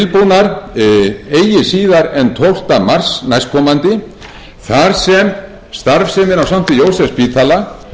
að vera tilbúnar eigi síðar en tólfta mars næstkomandi þar sem starfsemin á sankti jósefsspítala